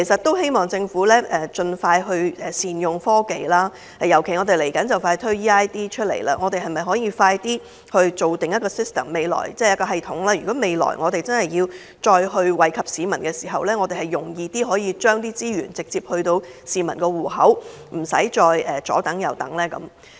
我希望政府就此能夠善用科技，既然快將推出 eID， 政府是否可以加緊建立一個系統，以便日後採取惠民措施時，可以簡易地把錢直接存進市民帳戶，而無須市民久等？